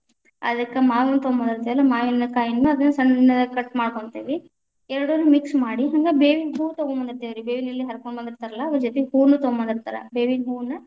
ಅದಕ್ಕ ಮಾವಿನ ತೊಂಬದಿ೯ತೆವಲ್ಲಾ ಮಾವಿನಕಾಯಿಯನ್ನ ಅದನ್ನ ಸಣ್ಣಗ cut ಮಾಡ್ಕೊಂತೀವಿ, ಎರಡನ್ನು mix ಮಾಡಿ ಹಂಗ ಬೇವಿನ ಹೂ ತಗೋಂಬದಿ೯ತೇವ್ರಿ ಬೇವಿನ ಎಲಿ ಹರಕೋಂಬದಿತಾ೯ರಲ್ಲಾ ಅದರ ಜೊತಿ ಹೂವುನು ತಗೊಂಬಂದಿರ್ತಾರ ಬೇವಿನ ಹೂವನ್ನ.